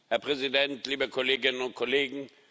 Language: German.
Herr Präsident, liebe Kolleginnen und Kollegen!